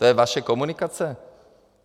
To je vaše komunikace?